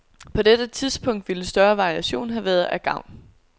På dette punkt ville større variation have været af gavn.